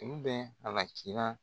Ulu bɛɛ halaki la.